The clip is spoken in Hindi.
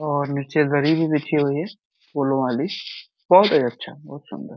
और नीचे दरी भी बिछी हुई है फूलो वाली। बहोत ही अच्छा बहोत सुंदर।